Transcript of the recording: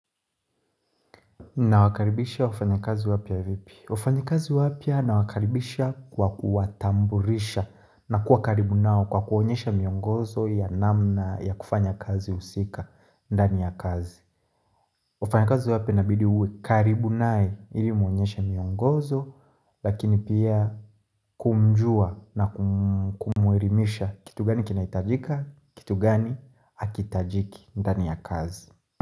Na wakaribisha wafanya kazi wapya vipi? Wafanyi kazi wapya na wakaribisha kwa kuwatamburisha na kuwa karibu nao kwa kuonyesha miongozo ya namna ya kufanya kazi husika ndani ya kazi wafanya kazi wapya inabidi uwe karibu nae ili umuonyesha miongozo lakini pia kumjua na kumwerimisha kitu gani kinahitajika kitu gani hakihitajiki ndani ya kazi.